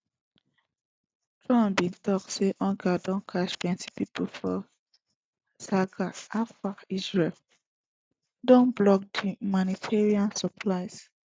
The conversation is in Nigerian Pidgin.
trump bin tok say hunger don catch plenti pipo for gaza afta israel don block di humanitarian supplies